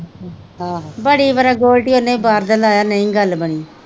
ਬੜੀ ਵਰਾ ਗੋਲਡੀ ਉਹਨੇ ਵੀ ਬਾਹਰ ਦਾ ਲਾਇਆ ਨਹੀਂ ਗੱਲ ਬਣੀ।